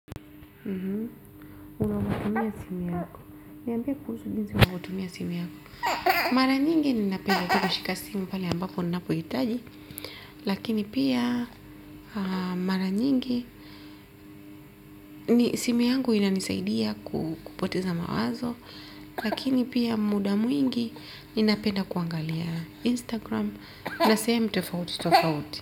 Unavyotumia simu yako niambie kuhusu jinsi unavyotumia simu yako mara nyingi ninapenda tu kushika simu pale ambapo ninapohitaji lakini pia mara nyingi simu yangu inanisaidia kupoteza mawazo lakini pia muda mwingi ninapenda kuangalia instagram na sehemu tofauti tofauti.